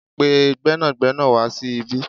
Pe gbẹ́nàgbẹ́nà wa sí ibí